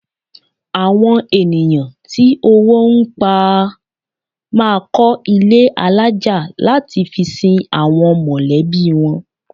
Àwọn ènìyàn tí owó ń pa a máa kọ́ ilé alájà láti fi sin àwọn mọ̀lẹ́bí wọn